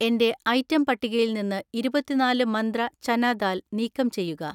എന്‍റെ ഐറ്റം പട്ടികയിൽ നിന്ന് ഇരുപത്തിനാല് മന്ത്ര ചന ദാൽ നീക്കം ചെയ്യുക.